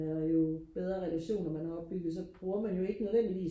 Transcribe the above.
jo bedre relationer man har opbygget så bruger man jo ikke nødvendigvis